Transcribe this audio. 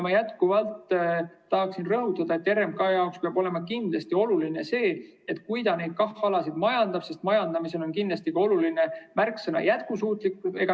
Ma jätkuvalt tahan rõhutada, et RMK jaoks peab olema kindlasti oluline, et kui ta neid KAH‑alasid majandab, siis majandamisel on oluline märksõna "jätkusuutlik".